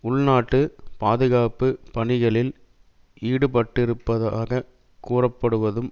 உள் நாட்டு பாதுகாப்பு பணிகளில் ஈடுபட்டிருப்பதாக கூறப்படுவதும்